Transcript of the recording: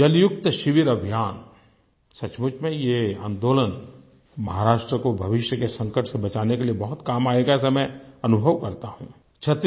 जलयुक्त शिविर अभियान सचमुच में ये आन्दोलन महाराष्ट्र को भविष्य के संकट से बचाने के लिए बहुत काम आएगा ऐसा मैं अनुभव करता हूँ